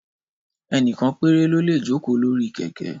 Ẹ́nìkan péré lólè joko lori kẹ̀kẹ́